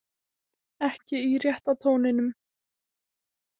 Ekki í rétta tóninum.